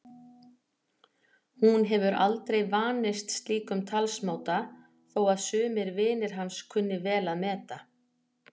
Hún hefur aldrei vanist slíkum talsmáta þó að sumir vinir hans kunni vel að meta.